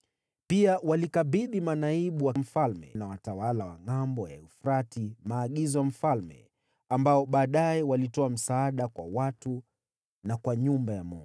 Pia walikabidhi manaibu wa mfalme na watawala wa Ngʼambo ya Mto Frati maagizo ya mfalme, ambao baadaye walitoa msaada kwa watu na kwa nyumba ya Mungu.